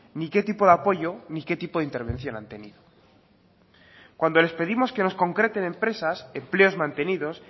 ni qué tipo de apoyo ni qué tipo de intervención han tenido cuando les pedimos que nos concreten empresas empleos mantenidos